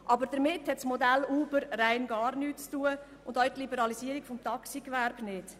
Aber damit hat das Modell Uber rein gar nichts zu tun und auch die Liberalisierung des Taxigewerbes nicht.